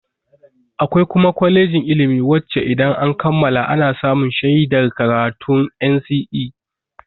Akwai kuma kwalejin ilimi wacce idan an kammala ana samun shaidar karatun NCE.